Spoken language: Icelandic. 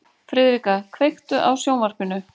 Friðrika, kveiktu á sjónvarpinu.